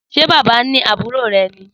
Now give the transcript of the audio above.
Sé bábà ni àbúrò ré ní?